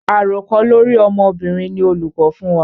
Àròkọ lórí ọmọbìnrin ni olùkọ́ fún wa.